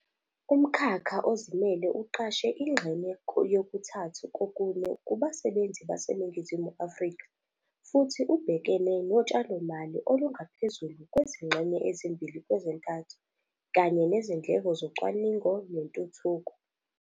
Umkhakha ozimele uqashe ingxenye yokuthathu kokune kubasebenzi baseNingizimu Afrika futhi ubhekene notshalomali olungaphezulu kwezingxenye ezimbili kwezintathu kanye nezindleko zocwaningo nentuthuko.